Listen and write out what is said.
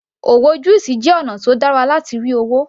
Òwò juice jẹ́ ọ̀nà tó dára láti rí owó